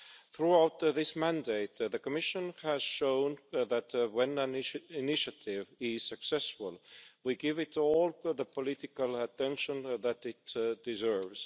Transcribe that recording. Throughout this mandate, the Commission has shown that when an initiative is successful, we give it all the political attention that it deserves.